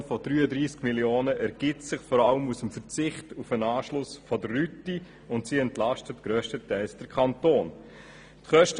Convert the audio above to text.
Die Kostenreduktion um 33 Mio. Franken ergibt sich vor allem aus dem Verzicht auf den Anschluss der Rüti, wodurch grösstenteils der Kanton entlastet wird.